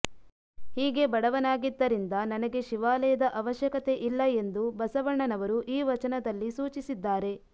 ಹೀಗೆ ಬಡವನಾಗಿದ್ದರಿಂದ ನನಗೆ ಶಿವಾಲಯದ ಅವಶ್ಯಕತೆ ಇಲ್ಲ ಎಂದು ಬಸವಣ್ಣನವರು ಈ ವಚನದಲ್ಲಿ ಸೂಚಿಸಿದ್ದಾರೆ